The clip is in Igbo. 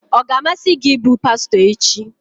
Ọ ga-amasị gị ịbụ pastọ echi?